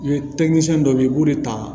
dɔ bɛ yen i b'o de ta